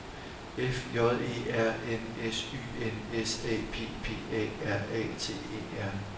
F J E R N S Y N S A P P A R A T E R